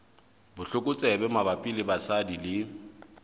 botlokotsebe mabapi le basadi le